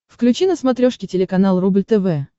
включи на смотрешке телеканал рубль тв